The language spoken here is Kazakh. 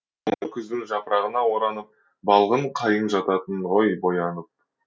күздің жапырағына оранып балғын қайың жататын ғой боянып